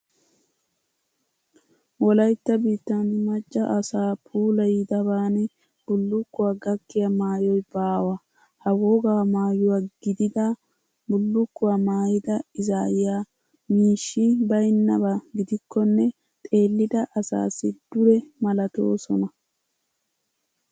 Wolaytta biittan macca asaa puulayidaban bullukkuwa gakkiya maayoy baawa. Ha wogaa maayuwa gidida bullukkuwa maayida izaaya miishshi baynnaba gidikkonne xeellida asassi dure malatoosona.